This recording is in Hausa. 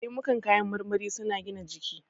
Lemukan kayan marmari su na gina jiki